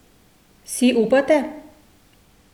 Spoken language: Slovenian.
Si upate?